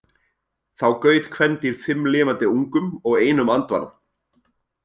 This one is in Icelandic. Þá gaut kvendýr fimm lifandi ungum og einum andvana.